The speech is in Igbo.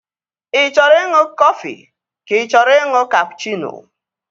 Ị chọrọ ịṅụ kọfị ka ị chọrọ ịṅụ kapụchịno?